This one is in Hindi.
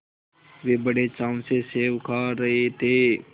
वे बड़े चाव से सेब खा रहे थे